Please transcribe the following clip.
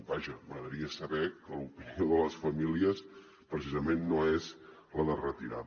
vaja m’agradaria saber que l’opinió de les famílies precisament no és la de retirada